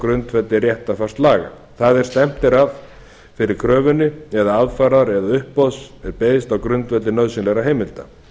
grundvelli réttarfarslaga það er að stefnt er þeirri kröfunni eða aðfarar eða uppboðs er beiðst á grundvelli nauðsynlegra heimilda